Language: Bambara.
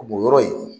O bɔnyɔrɔ in